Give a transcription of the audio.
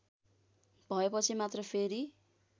भएपछि मात्र फेरि